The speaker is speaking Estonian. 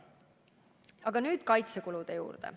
Aga nüüd kaitsekulude juurde.